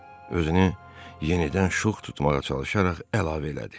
Özünü yenidən şux tutmağa çalışaraq əlavə elədi.